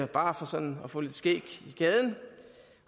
bare for sådan at få lidt skæg i gaden